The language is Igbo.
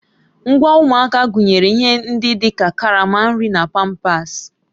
Ngwa ụmụaka gụnyere ihe ndị dị ka karama nri na pampasị